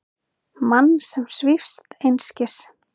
Mann sem svífst einskis.